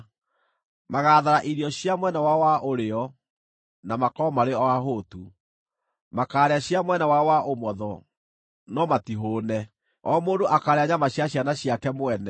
Magaathara irio cia mwena wao wa ũrĩo, na makorwo marĩ o ahũtu; makaarĩa cia mwena wao wa ũmotho, no matihũũne. O mũndũ akaarĩa nyama cia ciana ciake mwene;